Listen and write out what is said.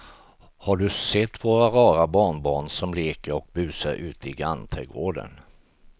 Har du sett våra rara barnbarn som leker och busar ute i grannträdgården!